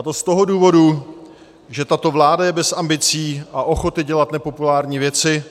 A to z toho důvodu, že tato vláda je bez ambicí a ochoty dělat nepopulární věci